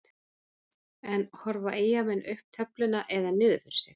En horfa Eyjamenn upp töfluna eða niður fyrir sig?